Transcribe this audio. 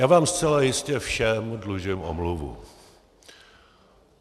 Já vám zcela jistě všem dlužím omluvu.